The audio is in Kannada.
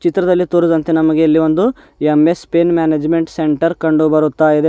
ಚಿತ್ರದಲ್ಲಿ ತೋರಿದಂತೆ ನಮಗೆ ಇಲ್ಲಿ ಒಂದು ಎಂ ಎಸ್ ಪ್ಪಿನ್ ಮ್ಯಾನೇಜ್ಮೆಂಟ್ ಸೆಂಟರ್ ಕಂಡು ಬರುತ್ತಾ ಇದೆ.